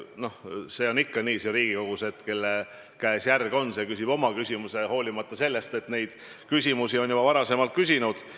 Noh, see on siin Riigikogus ikka nii, et kelle käes järg on, see küsib oma küsimuse, hoolimata sellest, et seda on juba varem küsitud.